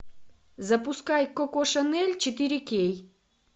запускай коко шанель четыре кей